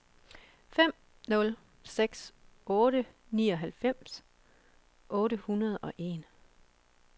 fem nul seks otte nioghalvfems otte hundrede og en